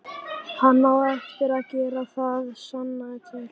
Hann á eftir að gera það, sannaðu til.